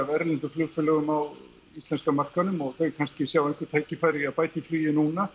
erlendum flugfélögum á íslenska markaðinum og þau kannski sjá einhver tækifæri í því að bæta í flugið núna